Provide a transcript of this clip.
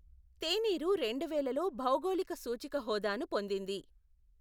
తేనీరు రెండువేలలో భౌగోళిక సూచిక హోదాను పొందింది.